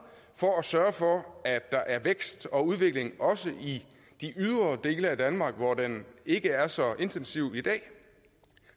for at sørge for at der er vækst og udvikling også i de ydre dele af danmark hvor den ikke er så intensiv i dag